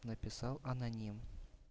написал аноним